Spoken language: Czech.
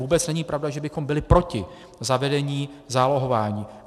Vůbec není pravda, že bychom byli proti zavedení zálohování.